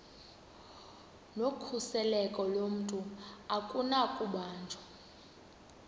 nokhuseleko lomntu akunakubanjwa